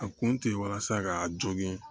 A kun tɛ ye walasa k'a jogon